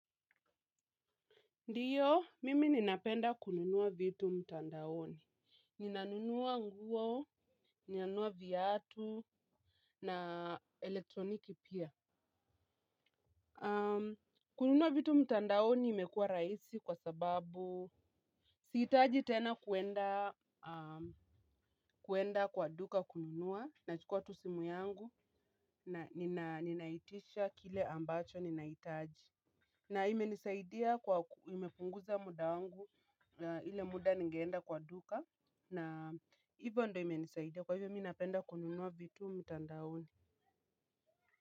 Ndiyo, mimi ninapenda kununua vitu mtandaoni. Ninanunua nguo, ninanunua viatu na elektroniki pia. Kununua vitu mtandaoni imekuwa rahisi kwa sababu sihitaji tena kuenda kwa duka kununua. Nachukua tu simu yangu, ninaitisha kile ambacho ninahitaji. Na imenisaidia kwa nimepunguza muda wangu na ile muda ningeenda kwa duka na hivyo ndo imenisaidia kwa hivyo mi napenda kununua vitu mtandaoni.